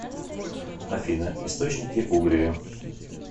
афина источники угрия